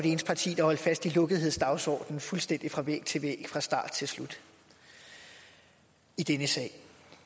parti der holdt fast i lukkethedsdagsordenen fuldstændig fra væg til væg fra start til slut i denne sag